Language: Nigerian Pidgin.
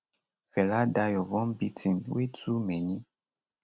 fela die of one beating wey too many